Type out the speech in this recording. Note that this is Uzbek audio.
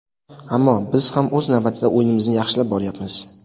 Ammo, biz ham o‘z navbatida o‘yinimizni yaxshilab boryapmiz.